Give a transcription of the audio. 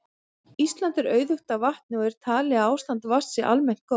Ísland er auðugt af vatni og er talið að ástand vatns sé almennt gott.